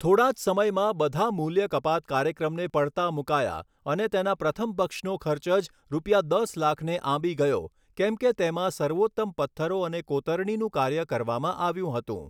થોડા જ સમયમાં બધા મૂલ્ય કપાત કાર્યક્રમને પડતા મૂકાયા અને તેના પ્રથમ પક્ષનો ખર્ચ જ રૂ. દસ લાખને આંબી ગયો કેમ કે તેમાં સર્વોત્તમ પથ્થરો અને કોતરણીનું કાર્ય કરવામાં આવ્યું હતું.